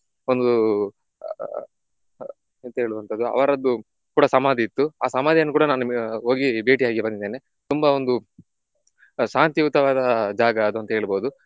ಒಂದು ಆಹ್ ಎಂತ ಹೇಳುವಂತದ್ದು ಅವರದ್ದು ಕೂಡ ಸಮಾಧಿ ಇತ್ತು ಆ ಸಮಾಧಿಯನ್ನು ಕೂಡ ನಾನು ಹೋಗಿ ಭೇಟಿ ಆಗಿ ಬಂದಿದ್ದೇನೆ. ತುಂಬ ಒಂದು ಶಾಂತಿಯುತವಾದ ಜಾಗ ಅದಂತ ಹೇಳಬಹುದು.